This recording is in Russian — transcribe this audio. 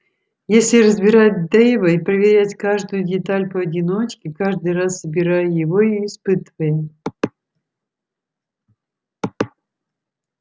если разбирать дейва и проверять каждую деталь поодиночке каждый раз собирая его и испытывая